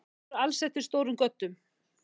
Þeir eru alsettir stórum göddum.